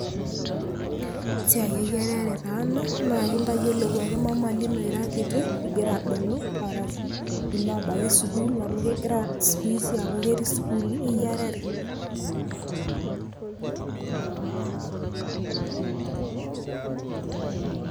esiaieyi erare taa ena ,naa enkitayilou ake ,mama ino ira kiti ingira abulu arashu ila abaiki sukuul. amu kegira sikuisi ketii isukuuli eyierare.